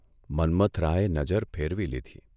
મન્મથરાયે નજર ફેરવી લીધી.